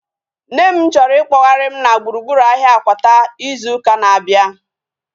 Nne m chọrọ ikpoghari m na gburugburu ahia Akwata izu ụka na-abịa